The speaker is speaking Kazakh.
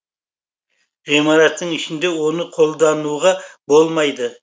ғимараттың ішінде оны қолдануға болмайды